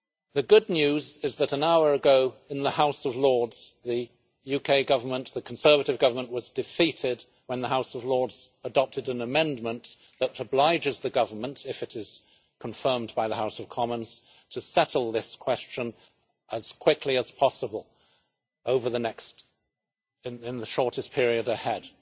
The good news is that an hour ago, in the House of Lords, the UK Government, the Conservative government, was defeated when the House of Lords adopted an amendment that obliges the government, if it is confirmed by the House of Commons, to settle this question as quickly as possible and in the shortest period ahead.